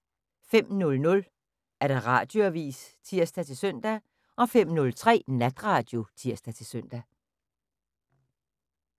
05:00: Radioavis (tir-søn) 05:03: Natradio (tir-søn)